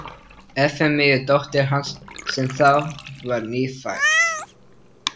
Efemíu dóttur hans, sem þá var nýfædd.